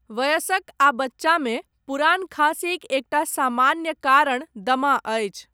वयस्क आ बच्चामे, पुरान खाँसीक एकटा सामान्य कारण, दमा अछि।